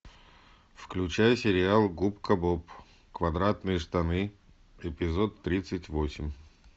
включай сериал губка боб квадратные штаны эпизод тридцать восемь